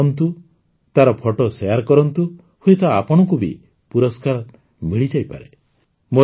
ମେଳାରେ ବୁଲନ୍ତୁ ତାର ଫଟୋ ସେୟାର କରନ୍ତୁ ହୁଏତ ଆପଣଙ୍କୁ ବି ପୁରସ୍କାର ମିଳିଯାଇପାରେ